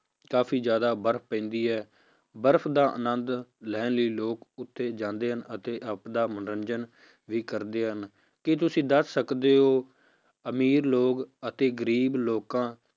ਕਾਫ਼ੀ ਜ਼ਿਆਦਾ ਬਰਫ਼ ਪੈਂਦੀ ਹੈ ਬਰਫ਼ ਦਾ ਅਨੰਦ ਲੈਣ ਲਈ ਲੋਕ ਉੱਥੇ ਜਾਂਦੇ ਹਨ, ਅਤੇ ਆਪਦਾ ਮਨੋਰੰਜਨ ਵੀ ਕਰਦੇ ਹਨ, ਕੀ ਤੁਸੀਂ ਦੱਸ ਸਕਦੇ ਹੋ ਅਮੀਰ ਲੋਕ ਅਤੇ ਗ਼ਰੀਬ ਲੋਕਾਂ